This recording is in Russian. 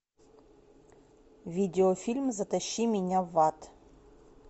видеофильм затащи меня в ад